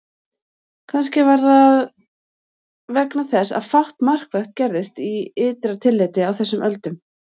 Kannski var það vegna þess að fátt markvert gerðist í ytra tilliti á þessum öldum.